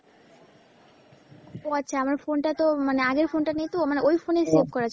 ও আচ্ছা, আমার phone টা তো মানে আগের phone টা নেই তো মানে ওই phone এ save করা ছিল।